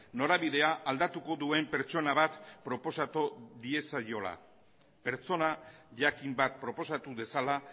norabidea aldatuko duen pertsona bat proposatu diezaiola pertsona jakin bat proposatu dezala